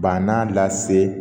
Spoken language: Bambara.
Bannan lase